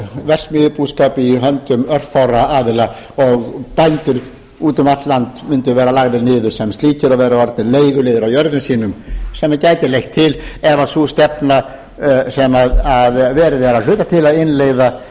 verksmiðjubúskap í höndum örfárra aðila og bændur úti um allt land mundu verða lagðir niður sem slíkir og vera orðnir leiguliðar á jörðum sínum sem gæti leitt til ef sú stefna sem verið er að hluta til að innleiða